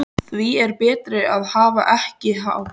Því er betra að hafa ekki hátt.